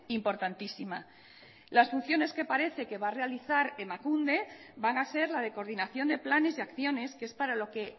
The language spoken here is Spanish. importantísima las funciones que parece que va a realizar emakunde van a ser la de coordinación de planes y acciones que es para lo que